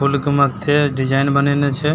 फुल के मत्थे डिज़ाइन बनैएने छै ।